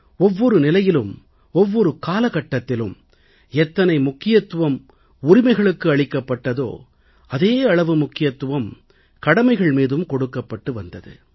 ஒவ்வொரு நிலையிலும் ஒவ்வொரு காலகட்டத்திலும் எத்தனை முக்கியத்துவம் அதிகாரங்களுக்கு அளிக்கப்பட்டதோ அதே அளவு முக்கியத்துவம் கடமைகள் மீதும் கொடுக்கப்பட்டு வந்தது